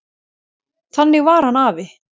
Þannig var hann afi.